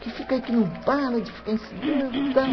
Que fica aí, que não para de ficar ensinando e tal.